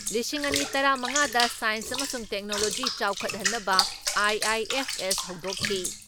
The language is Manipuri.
ꯂꯤꯁꯤꯡ ꯑꯅꯤ ꯇꯔꯥ ꯃꯉꯥ ꯗ ꯁꯥꯟꯁ ꯑꯃꯁꯨꯡ ꯇꯦꯀꯣꯂꯣꯖꯤ ꯆꯥꯎꯈꯠꯍꯟꯅꯕ ꯑꯥꯏ.ꯑꯥꯏ.ꯑꯦꯐ.ꯑꯦꯁ. ꯍꯧꯗꯣꯛꯈꯤ ꯫